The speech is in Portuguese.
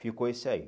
Ficou esse aí.